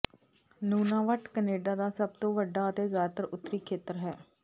Nunavut Canada ਦਾ ਸਭ ਤੋਂ ਵੱਡਾ ਅਤੇ ਜ਼ਿਆਦਾਤਰ ਉੱਤਰੀ ਖੇਤਰ ਹੈ